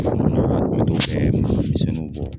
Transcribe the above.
Denmisɛnninw b'o bɔ.